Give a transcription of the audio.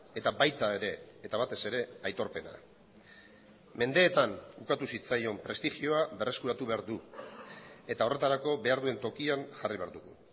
eta baita ere eta batez ere aitorpena mendeetan ukatu zitzaion prestigioa berreskuratu behar du eta horretarako behar duen tokian jarri behar dugu